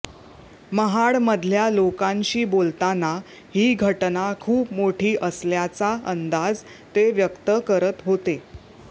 महाडमधल्या लोकांशी बोलताना ही घटना खूप मोठी असल्याचा अंदाज ते व्यक्त करत होते